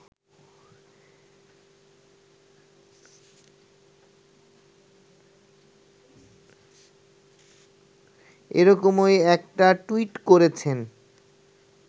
এরকমই একটা টুইট করেছেন